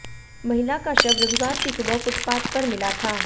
महिला का शव रविवार की सुबह फुटपाथ पर मिला था